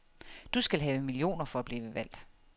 Du skal have millioner for at blive valgt.